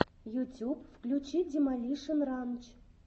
ютюб включи демолишен ранч